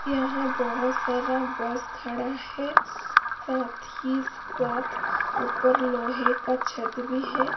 यहां बहुत सारा बस खड़ा है साथ ही साथ ऊपर लोहे का छत भी है।